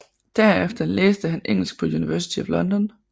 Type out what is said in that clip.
Derefter læste han engelsk på University of London